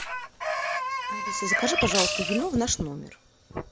алиса закажи пожалуйста вино в наш номер